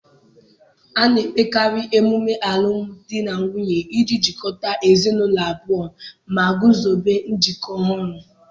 A na-emekarị emume alụmdi na nwunye iji jikọta ezinụlọ abụọ ma guzobe njikọ ọhụrụ